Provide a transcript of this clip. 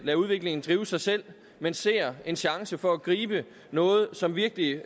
lader udviklingen drive sig selv men ser en chance for at gribe noget som virkelig